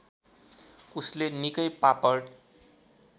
उसले निकै पापड